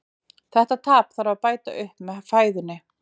Þetta tap þarf að bæta upp með fæðunni.